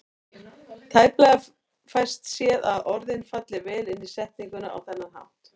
Tæplega fæst séð að orðin falli vel inn í setninguna á þennan hátt.